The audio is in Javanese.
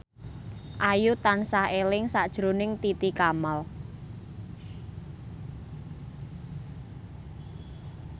Ayu tansah eling sakjroning Titi Kamal